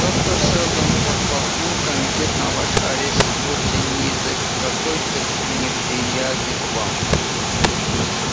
доктор сэлдон подтолкнул комитет на ваш арест вовсе не из-за какой-то неприязни к вам